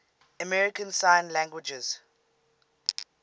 american sign language